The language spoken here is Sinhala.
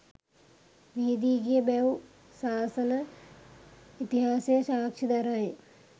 විහිදී ගිය බැව් ශාසන ඉතිහාසය සාක්ෂි දරයි.